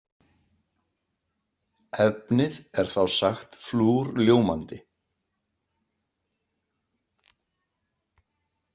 Efnið er þá sagt flúrljómandi.